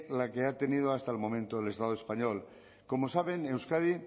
la que ha tenido hasta el momento el estado español como saben euskadi